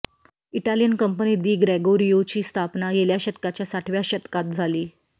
Italian company दी ग्रेगोरियोची स्थापना गेल्या शतकाच्या साठव्या शतकात झाली